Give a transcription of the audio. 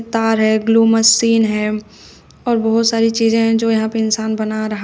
तार है glue machine है और बहोत सारी चीजें हैं जो जहां पर इंसान बन रहा--